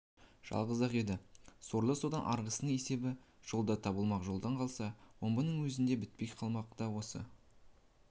жалғыз-ақ еді сорлы содан арғысының есебі жолда табылмақ жолдан қалса омбының өзінде бітпек қалай да осы